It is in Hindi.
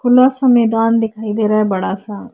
खुला सा मैदान दिखाई दे रहा है बड़ा सा।